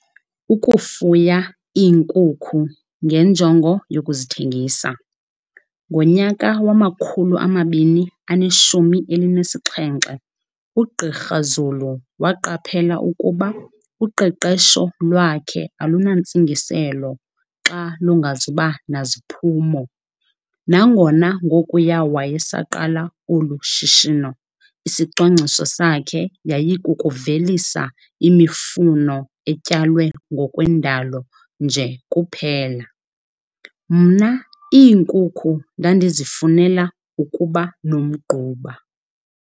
Ukufuya iinkukhu ngenjongo yokuzithengisa. "Ngonyaka wama-2017, uGqr Zulu waqaphela ukuba uqeqesho lwakhe alunantsingiselo xa lungazuba naziphumo. Nangona ngokuya wayesaqala olu shishino, isicwangciso sakhe yayikukuvelisa imifuno etyalwe ngokwendalo nje kuphela."Mna iinkukhu ndandizifunela ukuba nomgquba."